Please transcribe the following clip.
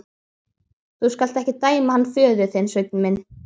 Þú skalt ekki dæma hann föður þinn, Sveinn minn.